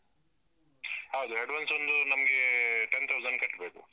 ಹೌದು, advance ಒಂದು ನಮ್ಗೆಟೆ ten thousand ಕಟ್ಬೇಕು.